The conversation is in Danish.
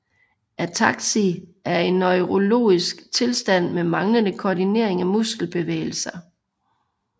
Ataksi er en neurologisk tilstand med manglende koordinering af muskelbevægelser